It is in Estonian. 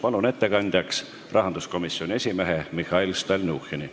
Palun ettekandjaks rahanduskomisjoni esimehe Mihhail Stalnuhhini.